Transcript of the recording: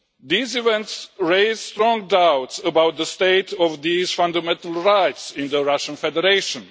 These events raise strong doubts about the state of these fundamental rights in the Russian Federation.